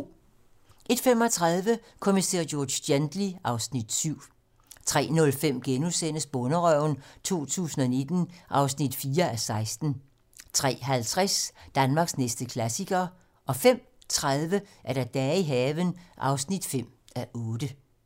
01:35: Kommissær George Gently (Afs. 7) 03:05: Bonderøven 2019 (4:16)* 03:50: Danmarks næste klassiker 05:30: Dage i haven (5:8)